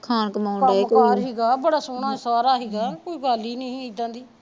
ਕੰਮ ਕਾਰ ਹੀਗਾ ਬੜਾ ਸੋਹਣਾ ਸਾਰਾ ਹੀਗਾ ਕੋਈ ਗੱਲ ਹੀ ਨੀ ਇਦਾ ਦੀ